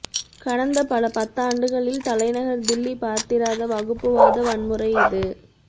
கடந்த பல பத்தாண்டுகளில் தலைநகர் தில்லி பார்த்திராத வகுப்புவாத வன்முறை இது